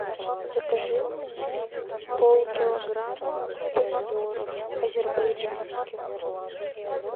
закажи мне полкилограмма помидоров азербайджанских